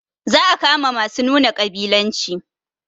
Za a kama masu nuna ƙabilanci